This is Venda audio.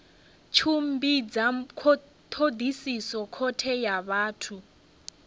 tshimbidza thodisiso khothe ya vhathu